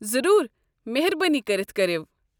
ضروُر ، مہربٲنی كٔرِتھ کٔرو۔